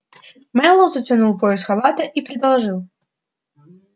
мэллоу затянул пояс халата и предложил